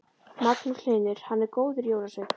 Magnús Hlynur: Hann er góður jólasveinn?